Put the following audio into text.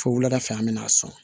Fo wuladafɛ an bɛna sɔn